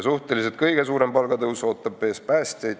Suhteliselt kõige suurem palgatõus ootab aga ees päästjaid.